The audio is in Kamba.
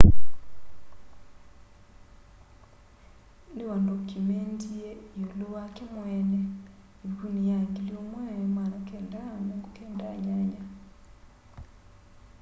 niwandokyumendie iulu wake mweene ivukuni ya 1998